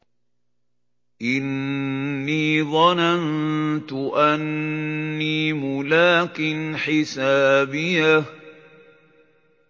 إِنِّي ظَنَنتُ أَنِّي مُلَاقٍ حِسَابِيَهْ